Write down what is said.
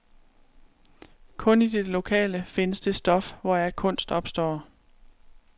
Kun i det lokale findes det stof, hvoraf kunst opstår.